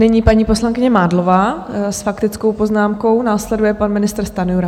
Nyní paní poslankyně Mádlová s faktickou poznámkou, následuje pan ministr Stanjura.